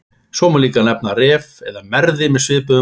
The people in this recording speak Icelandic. Svo má líka henda Ref eða Merði með svipuðum afleiðingum.